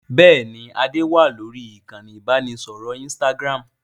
Bẹ́ẹ̀ni, ade wá lórí ìkànnì ibanidọ̀rẹ́ Instagram.